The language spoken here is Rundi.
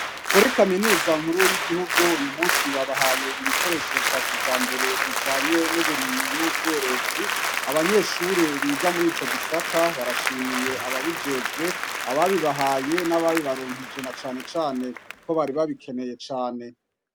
Kuri kaminuza nkuru y'igihugu uyu musi babahaye ibikoresho vya kijambere bijanye n'uburimyi n'ubworozi. Abanyeshure biga muri ico gisata barashimiye ababijejwe, ababibahaye n'abibaronkeje na cane cane ko bari babikeneye cane.